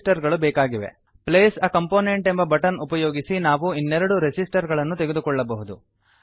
place a component place a component ಎಂಬ button ಉಪಯೋಗಿಸಿ ನಾವು ಇನ್ನೆರಡು ರೆಸಿಸ್ಟರ್ ಗಳನ್ನು ತೆಗೆದುಕೊಳ್ಳಬಹುದು